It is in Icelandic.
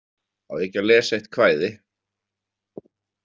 Á ég ekki að lesa eitt kvæði?